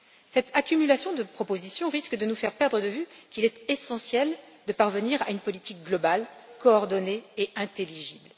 Cette accumulation de propositions risque de nous faire perdre de vue qu'il est essentiel de parvenir à une politique globale, coordonnée et intelligible.